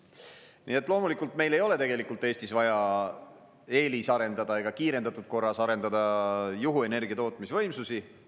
Nii et loomulikult meil ei ole tegelikult Eestis vaja eelisarendada ega kiirendatud korras arendada juhuenergia tootmisvõimsusi.